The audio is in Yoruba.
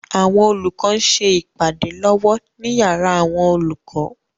Àwọn olùkọ ń ṣe ìpàdé lọ́wọ́ ní yàrá àwọn olùkọ.